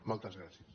moltes gràcies